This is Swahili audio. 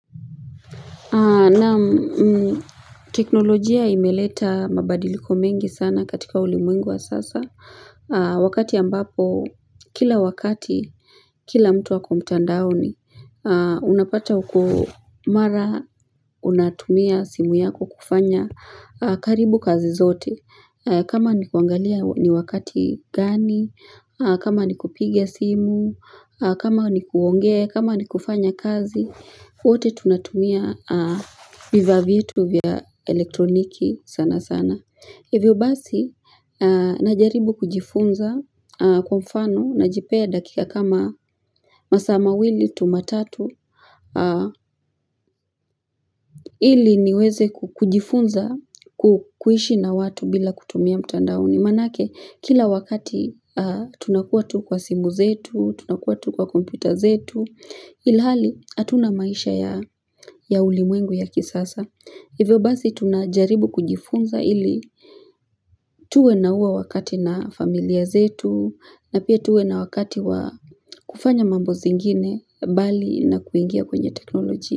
Naam teknolojia imeleta mabadiliko mengi sana katika ulimwengu wa sasa, wakati ambapo, kila wakati, kila mtu ako mtandaoni, unapata uko mara, unatumia simu yako kufanya karibu kazi zote. Kama ni kuangalia ni wakati gani, kama ni kupigia simu, kama ni kuongea, kama ni kufanya kazi, wote tunatumia vivaa vitu vya elektroniki sana sana. Hivyo basi, najaribu kujifunza kwa mfano najipea dakika kama masaa mawili tu matatu, ili niweze ku kujifunza ku kuishi na watu bila kutumia mtandaoni. Maanake, kila wakati tunakuwa tu kwa simu zetu, tunakuwa tu kwa kompyuta zetu, ilhali hatuna maisha ya ya ulimwengu ya kisasa. Hivyo basi tunajaribu kujifunza ili tuwe na huo wakati na familia zetu na pia tuwe na wakati wa kufanya mambo zingine bali na kuingia kwenye teknoloji.